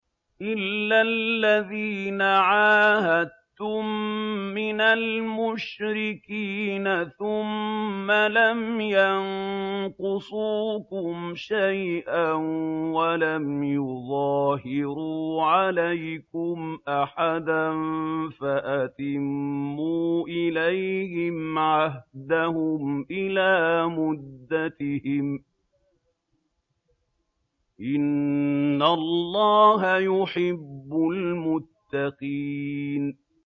إِلَّا الَّذِينَ عَاهَدتُّم مِّنَ الْمُشْرِكِينَ ثُمَّ لَمْ يَنقُصُوكُمْ شَيْئًا وَلَمْ يُظَاهِرُوا عَلَيْكُمْ أَحَدًا فَأَتِمُّوا إِلَيْهِمْ عَهْدَهُمْ إِلَىٰ مُدَّتِهِمْ ۚ إِنَّ اللَّهَ يُحِبُّ الْمُتَّقِينَ